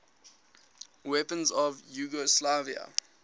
weapons of yugoslavia